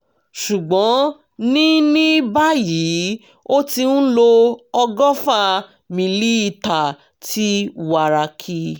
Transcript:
ṣùgbọ́n ní ní báyìí ó ti ń lo ọgọ́fà mílíítà ti wàràkì